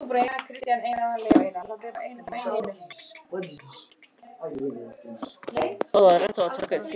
Þá hljóp Páll Snorrason á frúna, en hún hratt honum snöggt frá sér.